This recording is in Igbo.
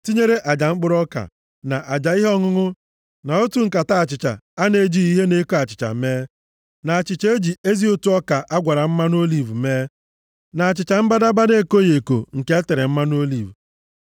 tinyere aja mkpụrụ ọka, na aja ihe ọṅụṅụ na otu nkata achịcha a na-ejighị ihe na-eko achịcha mee, na achịcha e ji ezi ụtụ ọka a gwara mmanụ oliv mee, na achịcha mbadamba na-ekoghị eko nke e tere mmanụ oliv.